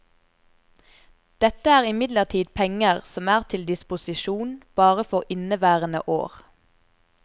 Dette er imidlertid penger som er til disposisjon bare for inneværende år.